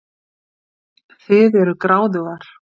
Þið eruð gráðugar.